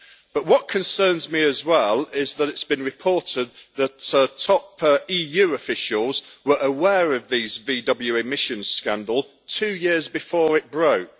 But what concerns me as well is that it has been reported that top EU officials were aware of the VW emissions scandal two years before it broke.